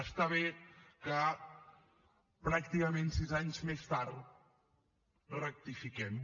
està bé que pràcticament sis anys més tard rectifiquem